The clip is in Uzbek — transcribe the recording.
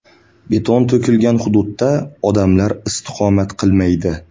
Beton to‘kilgan hududda odamlar istiqomat qilmaydi.